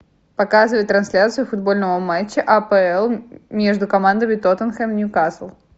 показывай трансляцию футбольного матча апл между командами тоттенхэм ньюкасл